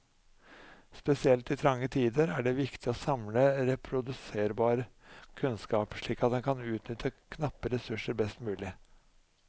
Spesielt i trange tider er det viktig å samle reproduserbar kunnskap, slik at man kan utnytte knappe ressurser best mulig.